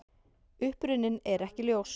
Uppruninn er ekki ljós.